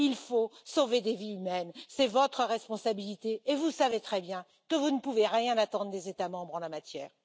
Il faut sauver des vies humaines, c'est votre responsabilité et vous savez très bien que vous ne pouvez rien attendre des États membres en la matière.